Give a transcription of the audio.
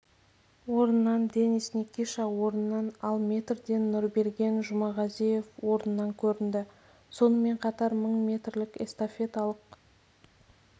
орыннан денис никиша орыннан ал метрден нұрберген жұмағазиев орыннан көрінді сонымен қатар мың метрлік эстафеталық